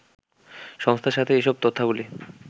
সংস্থার সাথে এসব তথ্যাবলি